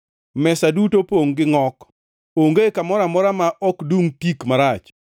Mesa duto opongʼ gi ngʼok, onge kamoro amora ma ok dungʼ tik marach.